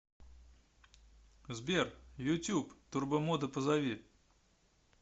сбер ютуб турбомода позови